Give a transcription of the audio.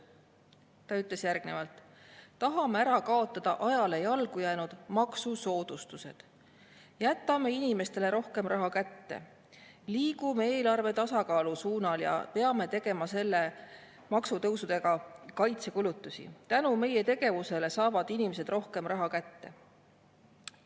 Ta ütles, et tahame ära kaotada ajale jalgu jäänud maksusoodustused, jätame inimestele rohkem raha kätte, liigume eelarve tasakaalu suunas ja peame tegema maksutõusude abil kaitsekulutusi, tänu meie tegevusele saavad inimesed rohkem raha kätte.